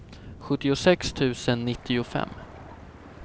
sjuttiosex tusen nittiofem